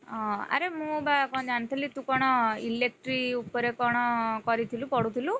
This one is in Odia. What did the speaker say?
ଅ ଆରେ ମୁଁ ବା କଣ ଜାଣିଥିଲି ତୁ କଣ electric ଉପରେ କଣ କରିଥିଲୁ ପଢୁଥିଲୁ?